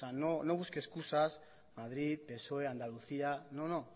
no busque excusas madrid psoe andalucía no no